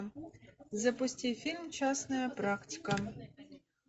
запусти фильм частная практика